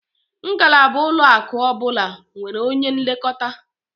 Ngalaba ụlọaku ọbụla nwere onye nlekọta